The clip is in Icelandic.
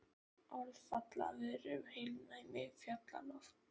Orð falla af vörum um heilnæmi fjallalofts.